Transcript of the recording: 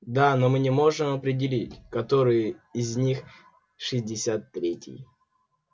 да но мы не можем определить который из них шестьдесят третий